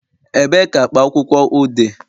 Ebee ka akpa akwụkwọ ur dị